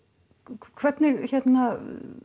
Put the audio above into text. hvernig hérna